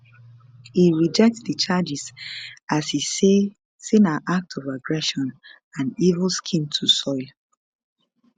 e reject di charges as e say say na act of aggression and evil scheme to soil